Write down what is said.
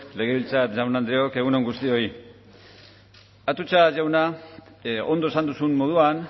legebiltzar jaun andreok egun on guztioi atutxa jauna ondo esan duzun moduan